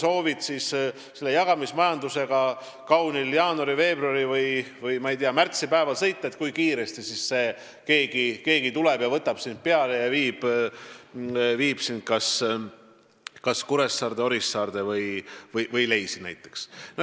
Kui sa oled Torgus ja soovid kaunil jaanuari-, veebruari- või märtsipäeval sõita jagamismajanduse abil, siis ei ole teada, kui kiiresti keegi tuleb, võtab sind peale ja viib kas Kuressaarde, Orissaarde või näiteks Leisi.